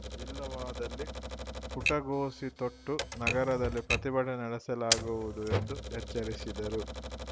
ಇಲ್ಲವಾದಲ್ಲಿ ಪುಟಗೋಸಿ ತೊಟ್ಟು ನಗರದಲ್ಲಿ ಪ್ರತಿಭಟನೆ ನಡೆಸಲಾಗುವುದು ಎಂದು ಎಚ್ಚರಿಸಿದರು